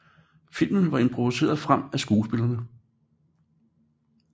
Filmen var improviseret frem af skuespillerne